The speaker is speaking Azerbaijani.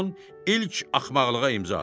Ramon ilk axmaqlığa imza atdı.